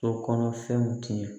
So kɔnɔ fɛnw tiɲɛ